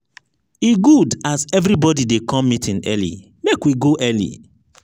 e good as everybody dey come meeting early make we go early.